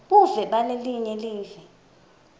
buve balelinye live